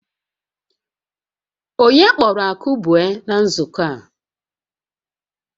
Onye kpọrọ Akụbue na nzukọ a?